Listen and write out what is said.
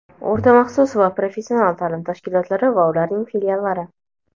o‘rta maxsus va professional ta’lim tashkilotlari va ularning filiallari).